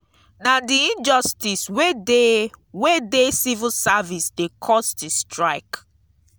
na di injustice wey dey wey dey civil service dey cause di strike.